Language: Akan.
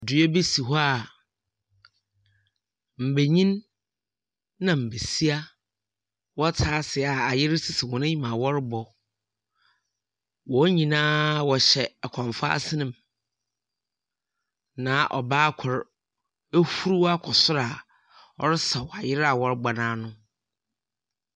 Dua bi si hɔ a mbanyin na mbasiafo wɔtse ase a ayer sisi wɔn enyim a wɔrobɔ. Wɔn nyina wɔhyɛ akɔmfo asenmu, na ɔbaa kor ehuruw akɔ sor ɔresaw ayer a wɔrobɔ no ano.